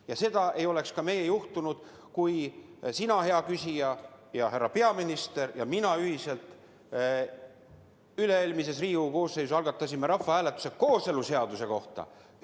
Ja seda segadust ei oleks ka meil juhtunud, kui sina, hea küsija, härra peaminister ja mina ühiselt oleksime üle-eelmises Riigikogu koosseisus algatanud rahvahääletuse kooseluseaduse kohta.